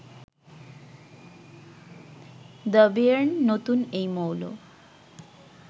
দ্যবিয়ের্ন, নতুন এই মৌল